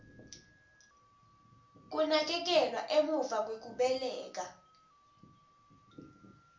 kunakekelwa emuva kwekubeleka